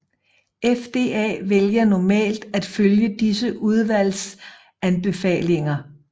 FDA vælger normalt at følge disse udvalgs anbefalinger